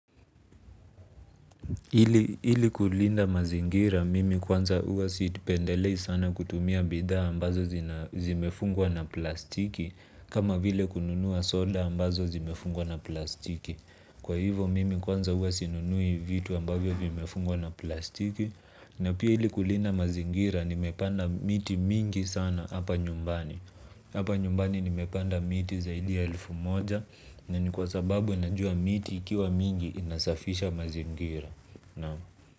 Ili kulinda mazingira mimi kwanza huwa sipendelei sana kutumia bidhaa ambazo zimefungwa na plastiki, kama vile kununua soda ambazo zimefungwa na plastiki. Kwa hivo mimi kwanza huwa sinunui vitu ambavyo vimefungwa na plastiki na pia ili kulinda mazingira nimepanda miti mingi sana hapa nyumbani hapa nyumbani nimepanda miti zaidi ya elfu moja, na ni kwa sababu ninajua miti ikiwa mingi inasafisha mazingira. Naam.